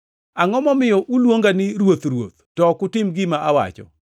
“Angʼo momiyo uluonga ni, ‘Ruoth, Ruoth,’ to ok utim gima awacho?